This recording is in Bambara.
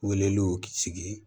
Weleliw sigi